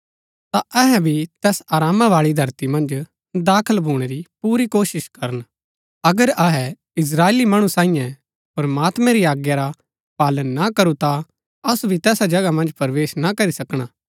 ता अहै भी तैस आरामा बाळी धरती मन्ज दाखल भूणै री पुरी कोशिश करन अगर अहै इस्त्राएली मणु सांईयै प्रमात्मैं री आज्ञा रा पालन ना करू ता असु भी तैसा जगह मन्ज प्रवेश ना करी सकणा